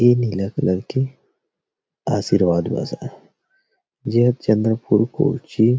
नीला कलर के आशीर्वाद बस आए जो चंद्रपुर कोची